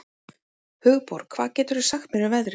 Hugborg, hvað geturðu sagt mér um veðrið?